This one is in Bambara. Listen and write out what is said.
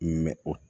o